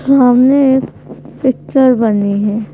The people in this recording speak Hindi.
सामने एक पिक्चर बनी है।